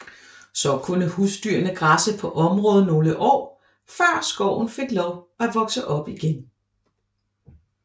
Så kunne husdyrene græsse på området nogle år før skoven fik lov at vokse op igen